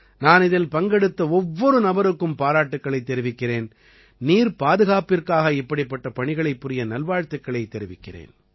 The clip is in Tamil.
நான் இதில் பங்கெடுத்த ஒவ்வொரு நபருக்கும் பாராட்டுக்களைத் தெரிவிக்கிறேன் நீர் பாதுகாப்பிற்காக இப்படிப்பட்ட பணிகளைப் புரிய நல்வாழ்த்துக்களைத் தெரிவிக்கிறேன்